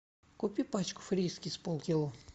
купи пачку фрискис полкило